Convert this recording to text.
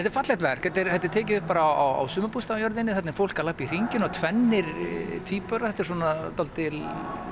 er fallegt verk þetta er þetta er tekið upp bara á þarna er fólk að labba í hringi og tvennir tvíburar þetta er svona dálítil